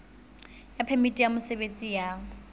ya phemiti ya mosebetsi ya